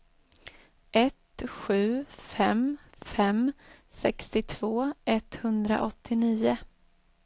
ett sju fem fem sextiotvå etthundraåttionio